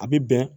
A bɛ bɛn